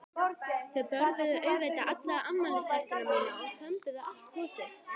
Þau borðuðu auðvitað alla afmælistertuna mína og þömbuðu allt gosið.